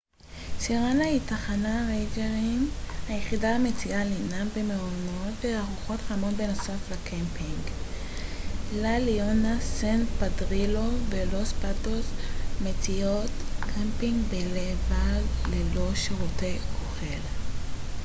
סירנה היא תחנת הריינג'רים היחידה המציעה לינה במעונות וארוחות חמות בנוסף לקמפינג לה ליאונה סן פדרילו ולוס פאטוס מציעות קמפינג בלבד ללא שירותי אוכל